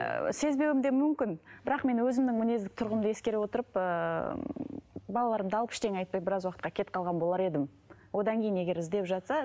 ыыы сезбеуім де мүмкін бірақ мен өзімнің мінездік тұрғымды ескере отырып ыыы балаларымды алып ештеңе айтпай біраз уақытқа кетіп қалған болар едім одан кейін егер іздеп жатса